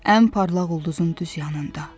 Ən parlaq ulduzun düz yanında.